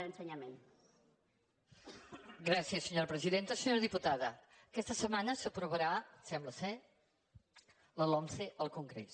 senyora diputada aquesta setmana s’aprovarà sembla la lomce al congrés